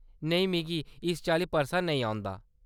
नेईं, मिगी इस चाल्ली परसा नेईं औंदा।